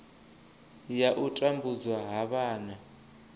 ya u tambudzwa ha vhana